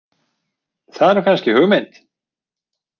Það er nú kannski hugmynd.